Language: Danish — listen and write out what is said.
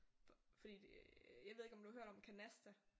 Fordi det jeg ved ikke om du har hørt om Canasta